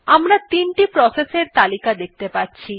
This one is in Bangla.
আমরা ৩ টি প্রসেস এর তালিকা দেখতে পাচ্ছি